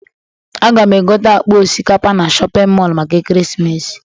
Aga m egote akpa osika na shọpịn mọọlụ maka ekeresimesi.